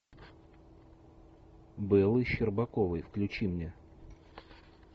бэлой щербаковой включи мне